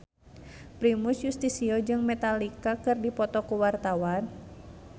Primus Yustisio jeung Metallica keur dipoto ku wartawan